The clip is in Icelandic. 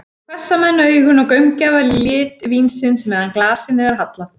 Svo hvessa menn augun og gaumgæfa lit vínsins, meðan glasinu er hallað.